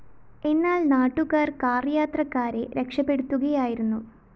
എന്നാല്‍ നാട്ടുകാര്‍ കാര്‍യാത്രക്കാരെ രക്ഷപെടുത്തുകയായിരുന്നു